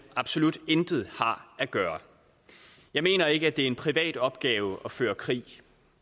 absolut intet har at gøre jeg mener ikke at det er en privat opgave at føre krig